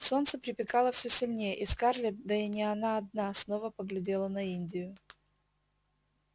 солнце припекало все сильнее и скарлетт да и не она одна снова поглядела на индию